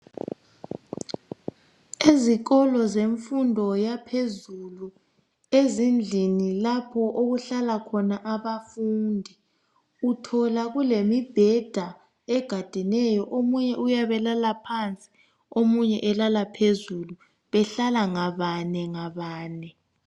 izikolo zemfundo yaphezulu ezindlini lapho okuhla khona abafundi uthola kulemibheda egadeneyo omunye uyabe elala phansi omunye elala phezulu behlala ngabane ngabane